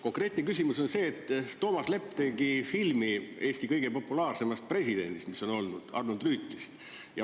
Konkreetne küsimus on see, et Toomas Lepp tegi filmi Eesti kõige populaarsemast presidendist, kes meil on olnud, Arnold Rüütlist.